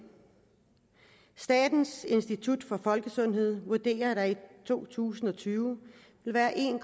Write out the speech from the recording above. statens institut for folkesundhed vurderer at der i to tusind og tyve vil være en